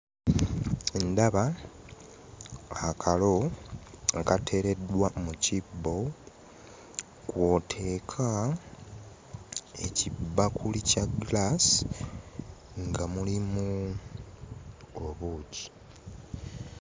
Ndaba akalo kateereddwa mu kibbo kw'oteeka ekibakuli kya giraasi nga mulimu obuugi.